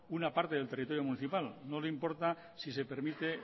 una parte del territorio municipal no le importa si se permite